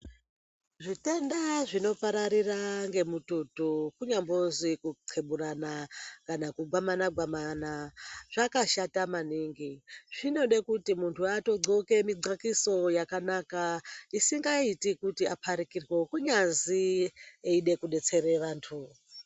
Zvitenda zvinopararira ngemututu kunyambozwi kuqheburana kana kugwamana-gwamana, zvakashata maningi. Zvinode kuti munthu atogqoke migqakiso yakanaka, isingaiti kuti munthu apharikirwe kunyazi echide kudetsere vanthu.